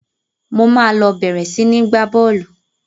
Mo máa lọ bẹ̀rẹ̀ sini gba bọ́ọ́lù